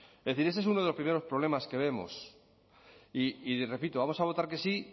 es decir ese es uno de los primeros problemas que vemos y repito vamos a votar que sí